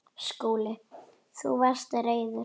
SKÚLI: Þú varst reiður.